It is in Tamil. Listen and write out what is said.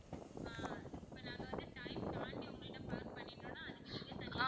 ஆஹ் இப்போ நாங்க வந்து time தாண்டி உங்ககிட்ட park பண்ணிட்டோம்னா அதுக்கு நீங்க தனியா